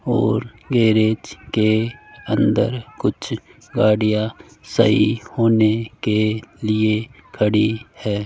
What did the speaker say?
और गैरेज के अंदर कुछ गाड़ियां सही होने के लिए खड़ी है।